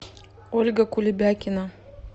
ольга кулебякина